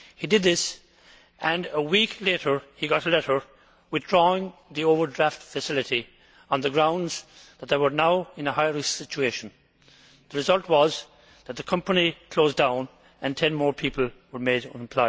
He did this, and a week later he got a letter withdrawing the overdraft facility on the grounds that they were now in a high risk situation. The result was that the company closed down and 10 more people were made redundant.